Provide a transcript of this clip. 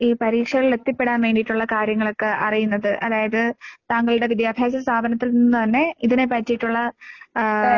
ഈ പരീക്ഷകളിലെത്തിപ്പെടാൻ വേണ്ടീട്ടൊള്ള കാര്യങ്ങളൊക്കെ അറിയുന്നത് അതായത് താങ്കളുടെ വിദ്യാഭ്യാസ സ്ഥാപനത്തിൽ നിന്ന് തന്നെ ഇതിനെപ്പറ്റീട്ടൊള്ള ആഹ്